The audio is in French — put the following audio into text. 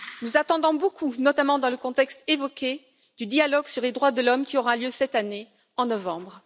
Nous attendons beaucoup, notamment dans le contexte évoqué, du dialogue sur les droits de l'homme qui aura lieu cette année, en novembre.